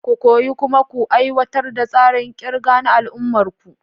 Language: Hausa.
Ku koyi kuma ku aiwatar da tsarin kirga na al'ummar ku.